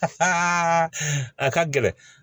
a ka gɛlɛn